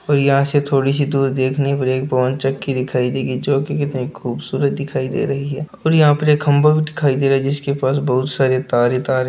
और यहाँ से थोड़े सी दूर देखने पर एक पवन चक्की दिखाई देगी जो कितनी खूबसूरत दिखाई दे रही है और यहाँ पर एक खम्बा भी दिखाई दे रहा है जिसके पास बहुत सारे तार ही तार --